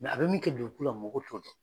Mɛ a bɛ min kɛ joli kueu la mɔgɔw tɛ o